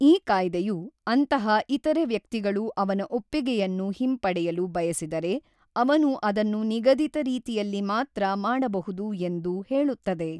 ಈ ಕಾಯ್ದೆುಯು ಅಂತಹ ಇತರೆ ವ್ಯಕ್ತಿಗಳು ಅವನ ಒಪ್ಪಿಗೆಯನ್ನು ಹಿಂಪಡೆಯಲು ಬಯಸಿದರೆ ಅವನು ಅದನ್ನು ನಿಗದಿತ ರೀತಿಯಲ್ಲಿ ಮಾತ್ರ ಮಾಡಬಹುದು ಎಂದು ಹೇಳುತ್ತದೆ.